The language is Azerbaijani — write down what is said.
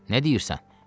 Nə deyirsən?